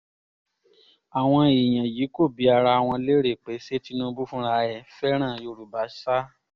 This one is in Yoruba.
àwọn èèyàn yìí kò bi ara wọn léèrè pé ṣé tinubu fúnra ẹ̀ fẹ́ràn yorùbá sá